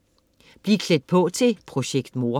Bliv klædt på til "Projekt Mor"